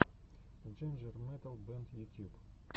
джинджер метал бэнд ютьюб